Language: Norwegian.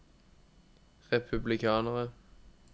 republikanere